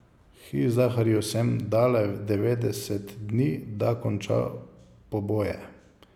Hizdahrju sem dala devetdeset dni, da konča poboje.